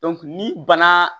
ni bana